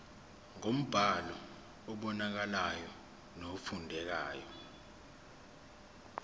ngombhalo obonakalayo nofundekayo